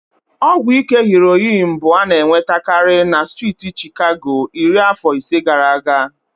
Ọgwụ ike heroin bụ ana-enwetakarị na striiti Chicago iri afọ ise gaara aga.